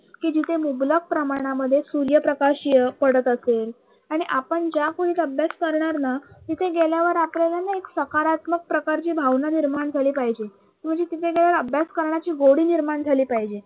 कि जिथे मुबलक प्रमाणामध्ये सूर्यप्रकाश पडत असेल आणि आपण ज्या खोलीत अभ्यास करणारना तिथे गेल्यावर आपल्यालाना एक सकारात्मक भावना झाली, पाहिजे म्हणजे तिथे गेल्यावर अभ्यासाची गोडी निर्माण झाली पाहिजे.